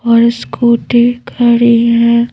और स्कूटी खड़ी है--